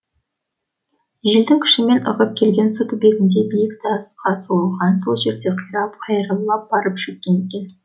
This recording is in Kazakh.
желдің күшімен ығып келген су түбіндегі биік тасқа соғылған сол жерде қирап қайырлап барып шөккен екен